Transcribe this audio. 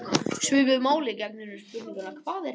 Svipuðu máli gegnir um spurninguna: Hvað er til?